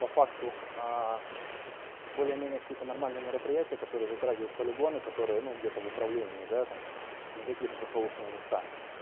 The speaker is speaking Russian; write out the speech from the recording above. по факту более-менее какие-то нормальные мероприятия которые затрагивают полигоны которые ну где-то в управлении да там не какие-то захолустный места